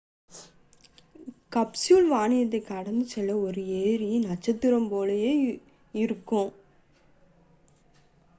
capsule வானத்தைக் கடந்து செல்லும் ஒரு எரி நட்சத்திரம் போல இருக்கும்